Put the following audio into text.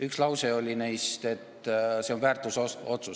Üks lause oli, et see on väärtusotsus.